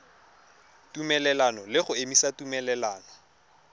tumelelano le go emisa tumelelano